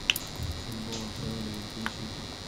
футбол апл ливерпуль сити